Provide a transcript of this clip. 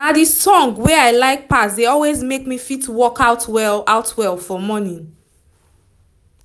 na the song wey i like pass dey always make me fit work out well out well for morning